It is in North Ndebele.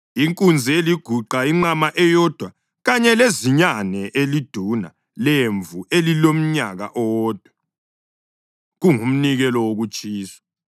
inkunzi eliguqa, inqama eyodwa kanye lezinyane eliduna lemvu elilomnyaka owodwa, kungumnikelo wokutshiswa;